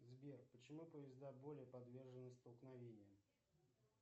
сбер почему поезда более подвержены столкновениям